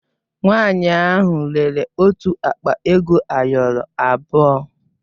Nwanyị ahụ rere otu akpa ego ayọrọ abụọ.